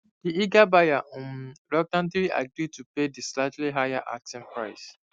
di eager buyer um reluctantly agri to pay di slightly higher asking price